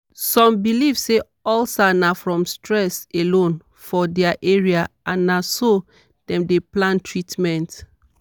some believe say ulcer na from stress alone for their area and na so dem dey plan treatment.